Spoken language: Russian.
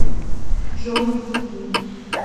джой беги